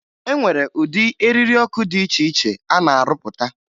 E nwere ụdị eriri ọkụ dị iche iche a na-arụpụta